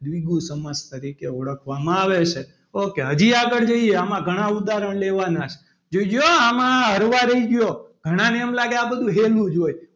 દ્વિગુ સમાસ તરીકે ઓળખવામાં આવે છે ok હજી આગળ જઈએ આમાં ઘણા ઉદાહરણ લેવાના છે જોજો આમાં હળવા રહેજો ઘણાને એમ લાગે આ બધું હેલુ જ હોય.